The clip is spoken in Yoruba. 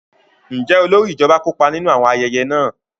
Njẹ olórí ijọba kópa ninu awọn ayẹyẹ náà?